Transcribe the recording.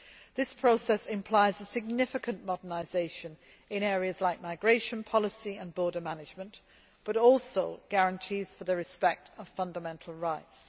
This process implies a significant modernisation in areas like migration policy and border management, but also guarantees for the respect of fundamental rights.